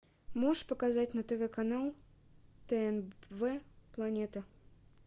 можешь показать на тв канал тнв планета